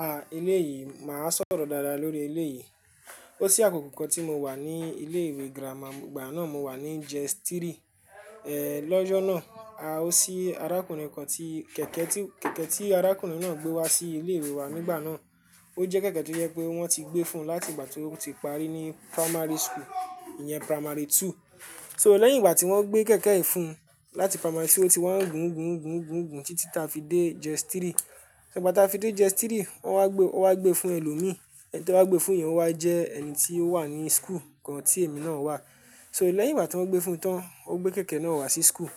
Ah! Elé yìí, màá sọ̀rọ̀ dáadáa lórí elé yìí. Ó sí àkókò kan tí mo wà ní ilé ìwé girama, ìgbà náà mo wà ní Jéstiri, eh lọ́jọ́ náà, a o sí arákùnrin kan tí kẹ̀kẹ́ tí, kẹ̀kẹ́ tí arákùnrin náà gbé wá sí ilé ìwé wa nígbà náà. Ó jẹ́ kẹ̀kẹ́ tó jẹ pé wọ́n ti gbé fún-un láti ìgbà tó ti parí ní primary school, ìyẹn primary two. So lẹ́yìn ìgbà tí wọ́n gbé kẹ̀kẹ́ yìí fún-un láti primary two, otí wa ń gùn gùn gùn gùn gùn títí ta fi dé Jéstirì. Ṣo igbà ta fi dé Jéstírì, wọ́n wá gbé, ọ́ wá gbé fún ẹlòmíí, ẹni tí ọ́wa gbé fún, yẹn o wá jẹ́ ẹni tí ó wà ní school kan tí èmi náà wà. So lẹ́yìn ìgbà tí wọ́n gbé fún-un tán, ó gbé kẹ̀kẹ́ náà wá sí school.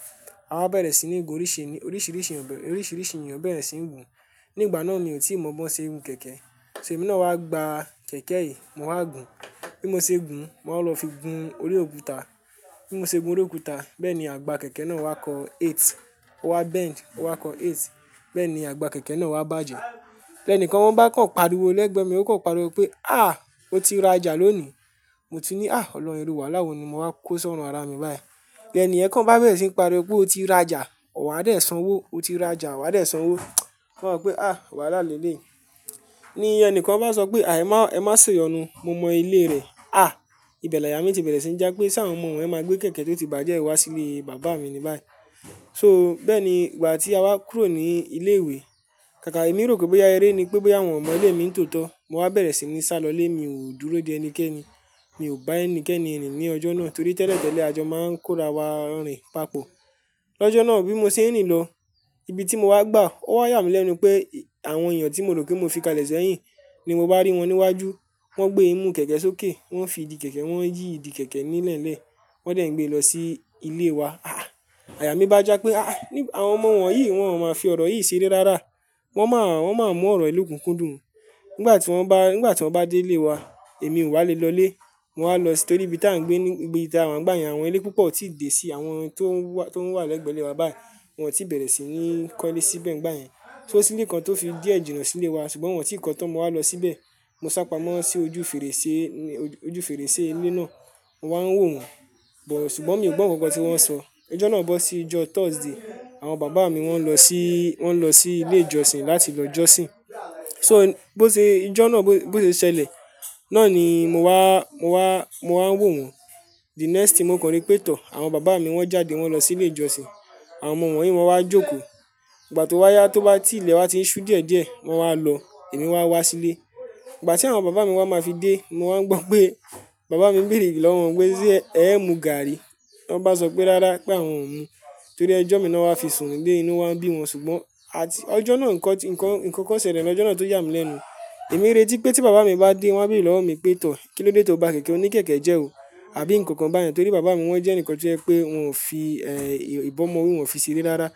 Awá bẹ̀rẹ̀ sí ní gun oríṣiriíṣi, oríṣiriíṣi èeyàn bẹ̀rẹ̀ sí ń gun. Ní ìgbà náà mi ò tíì mọ bó ṣe ń gun kẹ̀kẹ́. So èmi náà wá gba kẹ̀kẹ́ yìí, mo wá gun. Bí mo ṣe ń gun, mo wa lọ fi gun orí òkúta. Bí mo ṣe gun orí òkúta, bẹ́ẹ̀ ni àgbá kẹ̀kẹ́ náà wá kọ eight, ó wá bend, ó wá kọ eight. Bẹ́ẹ̀ ni àgbá kẹ̀kẹ́ náà wá bàjẹ́. Ẹni kan wọ́n bá kàn pariwo lẹ́gbẹ̀ẹ́ mi, ó kàn pariwo pé "àh! Ó ti rajà lónìí." Mo tun ní "àh! Olorun iru wàalá wo ni mo wá kó sọ̀run ara mi báyìí." ni ènìyen kan bá bẹ̀rẹ̀ sí ń pariwo pé ó ti rajà, wà á dẹ̀ sanwó, ó ti rajà, wà á dẹ̀ sanwó. Mo wa so pé "àh! Wàhálà lélèé." Ní ẹni kan bá sọ pé "à e má, ẹ má ṣe yọnu, mo mọ ilé rẹ̀." Ah! Ibẹ̀ làyà mí ti bẹ̀rẹ̀ sí ní já pé ṣá àwọn ọmọ wọ́nyi máa gbé kẹ̀kẹ́ tó ti bàjẹ́yi wá sí ilé bàbá mi ni báyìí. So bẹ́ẹ̀ ni ìgbà tí a wá kúrò ní ilé ìwé. Kàkà èmi rò pé bóyá eré ni, pé bóyá wọn ọ mọ ilé mi ń tòótọ́, mo wá bẹ̀rẹ̀ sí ní sá lọlé, mi ò dúró de ẹnikẹ́ni. Mi ò bá ẹnikẹ́ni rin ní ọjọ́ náà torí tẹ́lẹ̀tẹ́lẹ̀ àjọ máa ń kórawa rin papọ. Lọ́jọ́ náà bí mo ṣe ń rìn lọ, ibi tí mo wá gbà ó wá yàmí lẹ́nu pé àwọn èeyàn tí mo rò pé mo fi kalẹ̀ sẹ́yìn ni mo bá rí wọ́n níwájú. Wọ́n gbé imú kẹ̀kẹ́ sókè, wọ́n fi ìdí kẹ̀kẹ́, wọ́n yí ìdí kẹ̀kẹ́ nílẹ̀lẹ́. Wọ́n dẹ̀ ń gbé lọ sí ilé wa. Ah! Àyà mí bá já pé ah! Àwọn ọmọ wọ̀nyí wọ́n ò máa fi ọ̀rọ̀ yìí seré rárá. Wọ́n má, wọ́n máa mú ọ̀rọ̀yi lokúnkundùn. Nígbà tí wọ́n bá, nígbà tí wọ́n bá dé ilé wa, èmi ò wá le lọlé. Mo wá lọ torí ibi tí à ń gbé ní, ibi tà wa n gba yen, àwọn ilé púpọ̀ otí dé sí, àwọn tó ń wà lẹ́gbẹ̀ẹ́ ilé wa báyìí, wọ́n ti bẹ̀rẹ̀ sí ní kọ́lé síbẹ̀ n gbà yẹn. So sílẹ̀ kan tó fi díẹ̀ jìnà sílé wa, ṣùgbọ́n wọ́n ti ì kọ́ tán, mo wá lọ síbẹ̀. Mo sápamọ́ sí ojú fèrèsé, ojú fèrèsé ilé náà. Mo wá ń wò wọ́n, bọ̀ ṣùgbọ́n mi ò gbọ́ nǹkankan tí wọ́n ń sọ. Ọjọ́ náà bọ́ sí ìjọ Thursday. Àwọn bàbá mi wọ́n lọ sí, wọ́n lọ sí ilé ìjọsìn láti lọ jọ́sìn. So bó ṣe ijọ́ náà bó ṣe ṣẹlẹ̀, náà ni mo wá, mo wá, mo wá ń wò wọ́n. The next thing, mo kọ̀an rí pé tọ̀, àwọn bàbá mi wọ́n jáde, wọ́n lọ sí ilé ìjọsìn. Àwọn ọmọ wọ̀nyí wọ́n wá jókòó. Ìgbà tó wá yá, tó bá ti ilẹ̀ wa ti ń ṣú diedie, wọ́n wá lọ, èmi wá wá sílé. Ìgbà tí àwọn bàbá mi wa máa fi dé, mo wá ń gbọ́ pé bàbá mi béèrè lọ́wọ́ wọn pé ṣe ẹ mu gààrí? Wọ́n bá sọ pé rárá pé àwọn ò mu, torí ẹjọ́ mi ni wọ́n wá fi sùn ni le, inú waa n bí wọn. Ṣùgbọ́n àti ọjọ́ náà nǹkan, nǹkan, nǹkan kan ṣẹlẹ̀ lọ́jọ́ náà tó yàmí lẹ́nu. Èmi re tí pé tí bàbá mi bá dé, wọ́n á béèrè lọ́wọ́ mi pé tọ̀, kí ló dé tó ba kẹ̀kẹ́ o ní kẹ̀kẹ́ jẹ́ ò. Àbí nǹkan kan báyẹn torí bàbá mi wọ́n jẹ́ ẹnìkan tó jẹ́ pé wọn ò fi eh ìbọ́mọwi wọn fi seré rára.